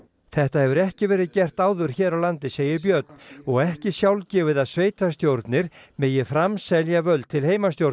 þetta hefur ekki verið gert áður hér á landi segir Björn og ekki sjálfgefið að sveitarstjórn megi framselja völd til